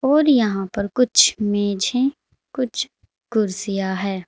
और यहां पर कुछ मेज हैं कुछ कुर्सियां है।